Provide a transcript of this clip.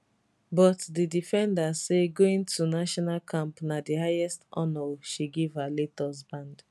but di defender say going to national camp na di highest honour she give her late husband